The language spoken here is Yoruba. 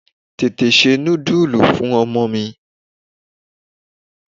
Tètè se nudulu fún ọmọ mi.